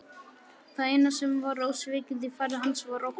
Það eina sem var ósvikið í fari hans var óttinn.